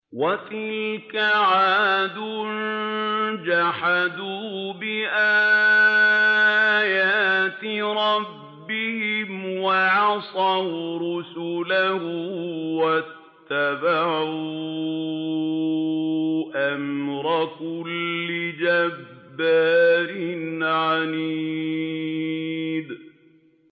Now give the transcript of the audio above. وَتِلْكَ عَادٌ ۖ جَحَدُوا بِآيَاتِ رَبِّهِمْ وَعَصَوْا رُسُلَهُ وَاتَّبَعُوا أَمْرَ كُلِّ جَبَّارٍ عَنِيدٍ